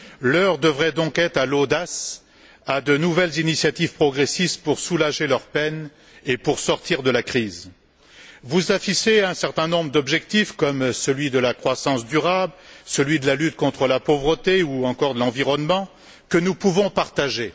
L'heure devrait donc être à l'audace, à de nouvelles initiatives progressistes pour soulager leur peine et pour sortir de la crise. Vous affichez un certain nombre d'objectifs, comme celui de la croissance durable, celui de la lutte contre la pauvreté ou encore de l'environnement, que nous pouvons partager.